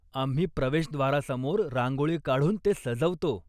आम्ही प्रवेशद्वारासमोर रांगोळी काढून ते सजवतो.